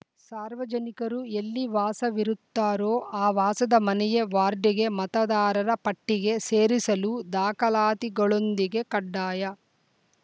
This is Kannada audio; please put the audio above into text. ಸಾರ್ವಜನಿಕರು ಎಲ್ಲಿ ವಾಸವಿರುತ್ತಾರೋ ಆ ವಾಸದ ಮನೆಯ ವಾರ್ಡ್‌ಗೆ ಮತದಾರರ ಪಟ್ಟಿಗೆ ಸೇರಿಸಲು ದಾಖಲಾತಿಗಳೊಂದಿಗೆ ಕಡ್ಡಾಯ